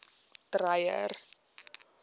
dreyer